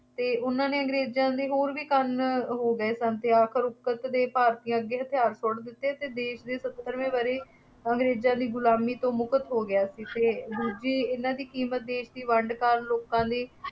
ਅਤੇ ਉਹਨਾ ਨੇ ਅੰਗਰੇਜ਼ਾਂ ਦੇ ਹੋਰ ਵੀ ਕੰਨ ਹੋ ਗਏ ਸਨ, ਅਤੇ ਆਖਰ ਕਰਕੇ ਭਾਰਤੀਆਂ ਅੱਗੇ ਹਥਿਆਰ ਸੁੱਟ ਦਿੱਤੇ ਅਤੇ ਦੇਸ਼ ਦੀ ਸੱਤਰਵੇਂ ਵਰ੍ਹੇ ਅੰਗਰੇਜ਼ਾਂ ਦੀ ਗੁਲਾਮੀ ਤੋਂ ਮੁਕਤ ਹੋ ਗਿਆ ਸੀ, ਅਤੇ ਦੂਜੀ ਇਹਨਾ ਦੀ ਕੀਮਤ ਦੇਸ਼ ਦੀ ਵੰਡ ਕਾਰਨ ਲੋਕਾਂ ਦੀ,